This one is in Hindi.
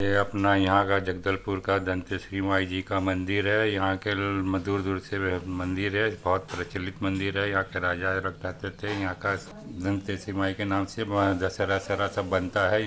यइ अपना यहाँ का जगदलपुर का दंतेश्वरी माई जी का मंदिर है यहाँ के दूर-दूर से मंदिर है बहुत प्रचलित मंदिर है यहाँ के राजा रहा करते थे यहाँ का दंतेश्वरी माई के नाम से दशहरा वशहरा सब बनता है।